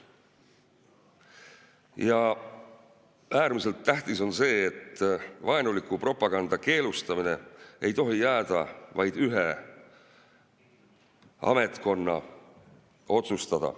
Ja äärmiselt tähtis on see, et vaenuliku propaganda keelustamine ei tohi jääda vaid ühe ametkonna otsustada.